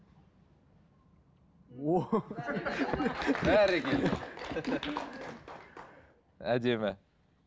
бәрекелді әдемі